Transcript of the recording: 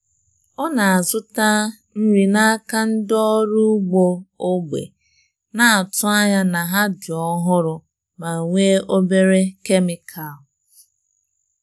Ọ na-azụta nri n’aka ndị ọrụ ugbo ógbè, na-atụ anya na ha dị ọhụrụ ma nwee obere kemikal.